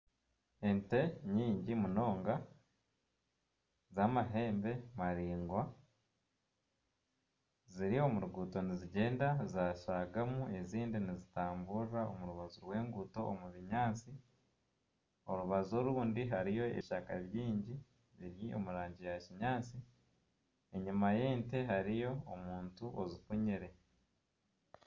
Ente nyingi munonga z'amahembe maraingwa ziri omu ruguuto nizigyenda zaashaagamu ezindi nizitamburira omu rubaju rw'enguuto omu binyaatsi orubaju orundi hariyo ebishaka bingi biri omu rangi ya kinyaatsi enyima y'ente hariyo omuntu ozifunyire.